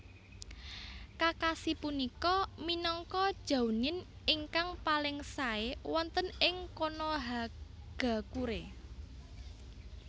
Kakashi punika minangka Jounin ingkang paling sae wonten ing Konohagakure